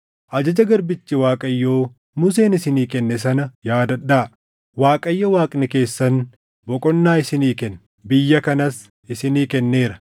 “Ajaja garbichi Waaqayyo Museen isinii kenne sana yaadadhaa; ‘ Waaqayyo Waaqni keessan boqonnaa isinii kenna; biyya kanas isinii kenneera.’